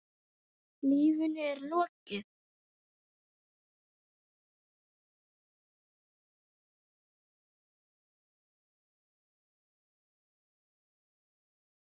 Lífinu er lokið.